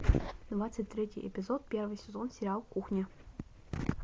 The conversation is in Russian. двадцать третий эпизод первый сезон сериал кухня